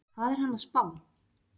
Hvað er hann að spá?